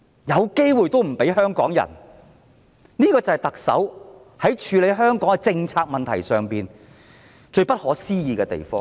有機會也不給香港人，這就是特首在處理香港政策問題上最不可思議的地方。